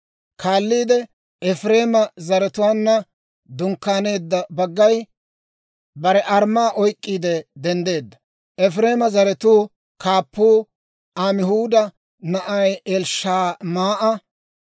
Kaalliide Efireema zaratuwaanna dunkkaaneedda baggay bare armmaa oyk'k'iide denddeedda. Efireema zaratuu kaappuu Amihuuda na'aa Elishamaa'a;